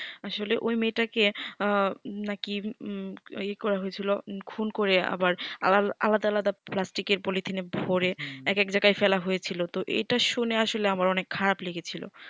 আসলে ওই মেয়ে টাকে আঃ নাকি ই করা হয়েছিল খুন করে আবার আলাদা আলাদা প্লাস্টিকের পলেথিন এ ভোরে এক এক জায়গায় ফেলা হয়ে ছিল টি এইটা শুনে আমার ওনাকে খারাপ লেগেছিলো